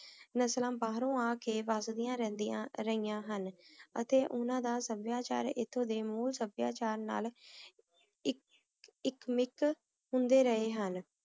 ਨਸਲਾਂ ਬਾਹਰੋਂ ਆ ਕੇ ਵਾਗ੍ਦਿਯਾਂ ਰਹਿਯਾਂ ਹਨ ਅਤੀ ਓਹਨਾਂ ਦਾ ਸਭ੍ਯਾਚਾਰ ਏਥੋਂ ਦੇ ਮੂਹ ਸਭ੍ਯਾਚਾਰ ਨਾਲ ਏਇਕ ਮਿਕ ਹੁੰਦੇ ਰਹਨ ਹਨ